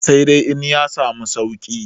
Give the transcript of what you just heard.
sai dai in ya samu sauki